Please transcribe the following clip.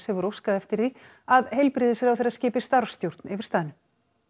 hefur óskað eftir því að heilbrigðisráðherra skipi starfsstjórn yfir staðnum